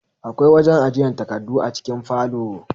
Akwai wajen ajiyan takardu a cikin falo